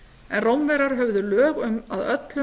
en rómverjar höfðu lög um að öllum